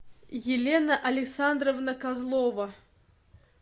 елена александровна козлова